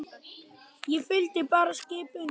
Ég fylgdi bara skip unum.